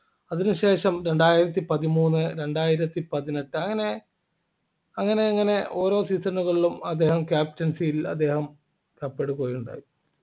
അതിനുശേഷം രണ്ടായിരത്തി പതിമൂന്ന് രണ്ടായിരത്തി പതിനെട്ടു അങ്ങനെ അങ്ങനെ അങ്ങനെ ഓരോ season കളിലും അദ്ദേഹം captaincy ൽ അദ്ദേഹം കപ്പെടുക്കുകയുണ്ടായി